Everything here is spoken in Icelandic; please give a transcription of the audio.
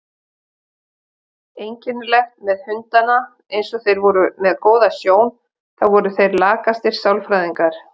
Einkennilegt með hundana eins og þeir voru með góða sjón, þá voru þeir lakastir sálfræðingar.